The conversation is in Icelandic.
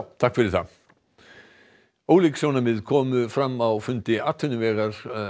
takk fyrir það ólík sjónarmið komu fram á fundi atvinnuveganefndar